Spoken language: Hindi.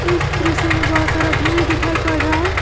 इस दृश्य में बहुत सारा भीड़ दिखाई पड़ रहा है।